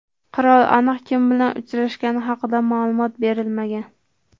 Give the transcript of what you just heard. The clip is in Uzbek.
Qirol aniq kim bilan uchrashgani haqida ma’lumot berilmagan.